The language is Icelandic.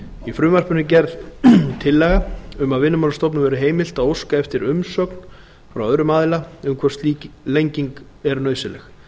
í frumvarpinu er gerð tillaga um að vinnumálastofnun verði heimilt að óska eftir umsögn frá öðrum aðila um hvort slík lenging sé nauðsynleg